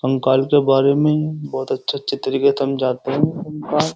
कंकाल के बारे में बहुत अच्छे-अच्छे तरीके समझाते है कंकाल --